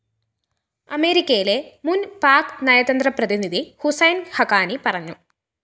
അമേരിക്കയിലെ മുന്‍പാക് നയതന്ത്രപ്രതിനിധി ഹുസൈന്‍ ഹഖാനി പറഞ്ഞു